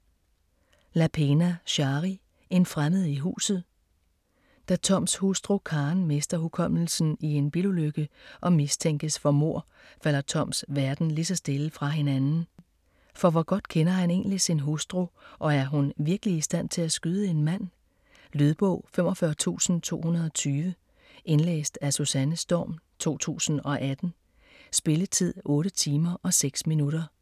Lapena, Shari: En fremmed i huset Da Toms hustru Karen mister hukommelsen i en bilulykke og mistænkes for mord, falder Toms verden lige så stille fra hinanden. For hvor godt kender han egentlig sin hustru, og er hun virkelig i stand til at skyde en mand? Lydbog 45220 Indlæst af Susanne Storm, 2018. Spilletid: 8 timer, 6 minutter.